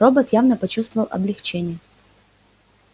робот явно почувствовал облегчение